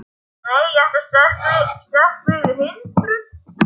Nei, ég ætla að stökkva yfir hindrun.